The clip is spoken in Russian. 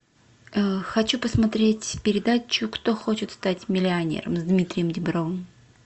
хочу посмотреть передачу кто хочет стать миллионером с дмитрием дибровым